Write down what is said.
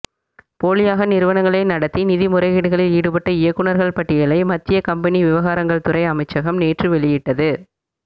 போலியாக நிறுவனங்களை நடத்தி நிதி முறைகேடுகளில் ஈடுபட்ட இயக்குனர்கள் பட்டியலை மத்திய கம்பெனி விவகாரங்கள் துறை அமைச்சகம் நேற்று வெளியிட்டது